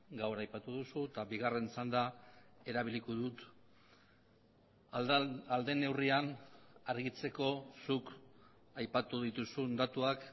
gaur aipatu duzu eta bigarren txanda erabiliko dut ahal den neurrian argitzeko zuk aipatu dituzun datuak